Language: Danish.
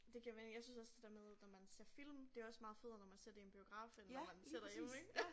Det giver mening jeg synes også det der med når man ser film det også meget federe når man ser det i en biograf end når man sidder derhjemme ik